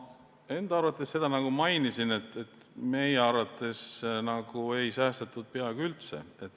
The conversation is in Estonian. Ma enda arvates nagu mainisin, et meie arvates ei säästetud peaaegu üldse.